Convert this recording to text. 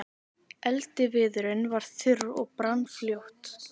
Eldiviðurinn var þurr og brann fljótt.